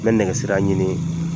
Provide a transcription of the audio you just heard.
N bɛ nɛgɛsirala ɲini